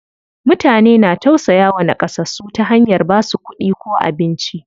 Mutane na tausayawa naƙasassu ta hanyar basu kuɗi ko abinci.